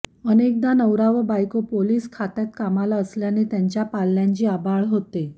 अनेकदा नवरा व बायको पोलिस खात्यात कामाला असल्याने त्यांच्या पाल्यांची आबाळ होते